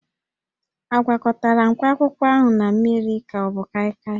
A gwakọtara mkpakwụkwọ ahụ na mmiri ka ọ bụ kaịkaị?